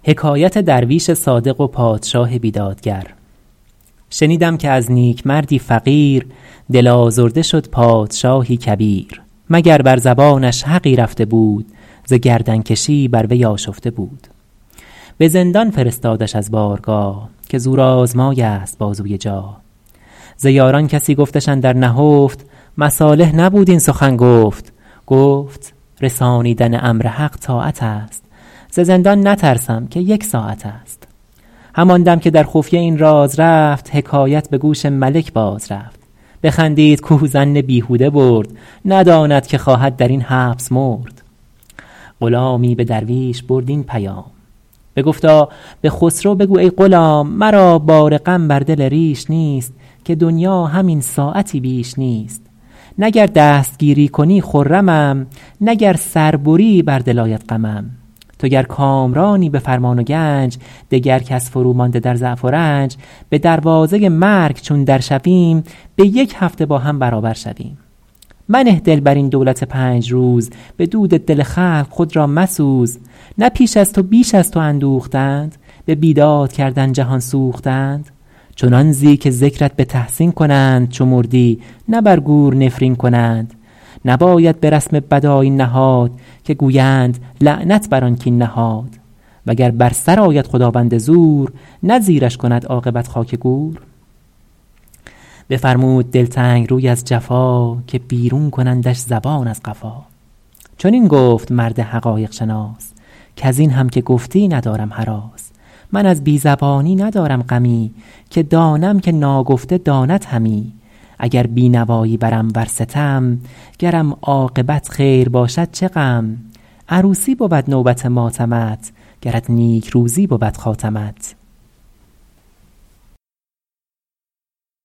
شنیدم که از نیکمردی فقیر دل آزرده شد پادشاهی کبیر مگر بر زبانش حقی رفته بود ز گردن کشی بر وی آشفته بود به زندان فرستادش از بارگاه که زورآزمای است بازوی جاه ز یاران کسی گفتش اندر نهفت مصالح نبود این سخن گفت گفت رسانیدن امر حق طاعت است ز زندان نترسم که یک ساعت است همان دم که در خفیه این راز رفت حکایت به گوش ملک باز رفت بخندید کاو ظن بیهوده برد نداند که خواهد در این حبس مرد غلامی به درویش برد این پیام بگفتا به خسرو بگو ای غلام مرا بار غم بر دل ریش نیست که دنیا همین ساعتی بیش نیست نه گر دستگیری کنی خرمم نه گر سر بری بر دل آید غمم تو گر کامرانی به فرمان و گنج دگر کس فرومانده در ضعف و رنج به دروازه مرگ چون در شویم به یک هفته با هم برابر شویم منه دل بر این دولت پنج روز به دود دل خلق خود را مسوز نه پیش از تو بیش از تو اندوختند به بیداد کردن جهان سوختند چنان زی که ذکرت به تحسین کنند چو مردی نه بر گور نفرین کنند نباید به رسم بد آیین نهاد که گویند لعنت بر آن کاین نهاد وگر بر سرآید خداوند زور نه زیرش کند عاقبت خاک گور بفرمود دلتنگ روی از جفا که بیرون کنندش زبان از قفا چنین گفت مرد حقایق شناس کز این هم که گفتی ندارم هراس من از بی زبانی ندارم غمی که دانم که ناگفته داند همی اگر بینوایی برم ور ستم گرم عاقبت خیر باشد چه غم عروسی بود نوبت ماتمت گرت نیکروزی بود خاتمت